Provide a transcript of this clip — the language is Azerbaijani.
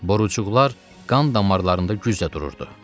Borucuqlar qan damarlarında güclə dururdu.